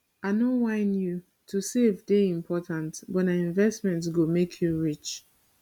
i no whine you to save dey important but nah investment go make you rich